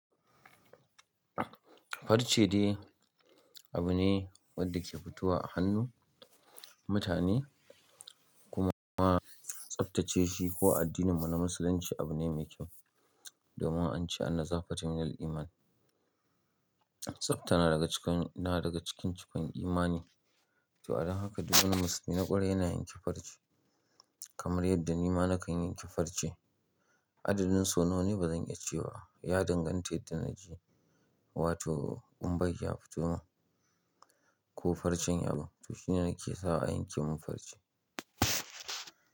Farce dai abu ne wanda ke fito wa a hannun mutane kuma tsaftace shi ko a addinin mu na Musulunci abu ne mai kyau domin an ce “Anna zafa tuminal Iman”. Tsabta na daga cikin cikan imani, to adon haka duk wani musulmi na kwarai yana yanke farce kamar yadda nima na kan yan kefarce. Adadin su nawa ne ba zan iya cewa, ya danganta yadda naji wato kun bai ya fito ma ko farcen abu. To shine yake sawa a yanke mun farce.